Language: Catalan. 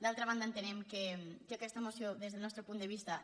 d’altra banda entenem que aquesta moció des del nostre punt de vista